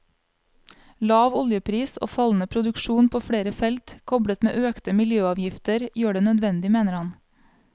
Lav oljepris og fallende produksjon på flere felt, koblet med økte miljøavgifter, gjør det nødvendig, mener han.